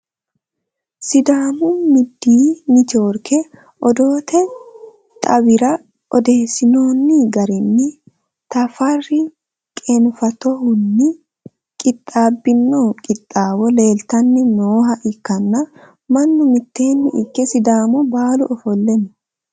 sidaamu midiyii networke odoote xaawira odeessinoonni garinni tafarri qeenfatohunni qixxaabbino qixxaawo leeltanni nooha ikkanna , mannu mitteenni ikke sidaamu baalu ofo'lle no.